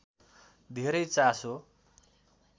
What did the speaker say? धेरै चासो